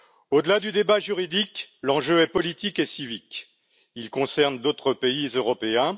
Au delà du débat juridique, l'enjeu est politique et civique, il concerne d'autres pays européens.